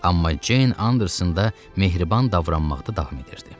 Amma Ceyn Anderson da mehriban davranmaqda davam edirdi.